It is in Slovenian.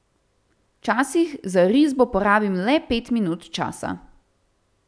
Včasih za risbo porabim le pet minut časa.